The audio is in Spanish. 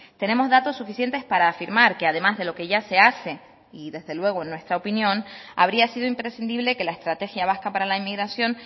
tenemos datos suficientes para afirmar que además de lo que ya se hace y desde luego en nuestra opinión habría sido imprescindible que la estrategia vasca para la inmigración